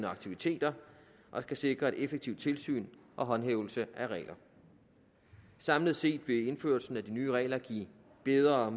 aktiviteter og kan sikre et effektivt tilsyn og håndhævelse af regler samlet set vil indførelsen af de nye regler give bedre